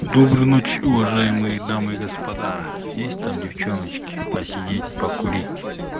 доброй ночи уважаемые дамы и господа есть там девчоночки посидеть покурить